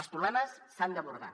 els problemes s’han d’abordar